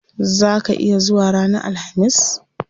Zaa ka iya zuwa ranar alhamis?